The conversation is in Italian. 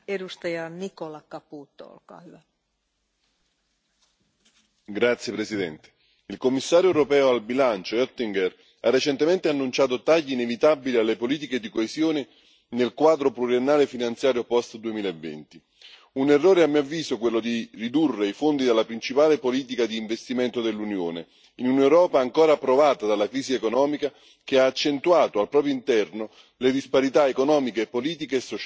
Signora Presidente, onorevoli colleghi, il Commissario europeo al bilancio Oettinger ha recentemente annunciato tagli inevitabili alle politiche di coesione nel Quadro pluriennale finanziario post 2020. Un errore, a mio avviso, quello di ridurre i fondi della principale politica di investimento dell'Unione, in un'Europa ancora provata dalla crisi economica, che ha accentuato al proprio interno le disparità economiche, politiche e sociali.